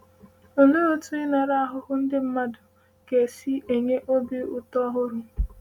Olee otú ịṅara ahụhụ ndị mmadụ ga si enye obi ụtọ ọhụrụ?